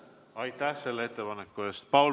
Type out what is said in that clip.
Aitäh selle ettepaneku eest!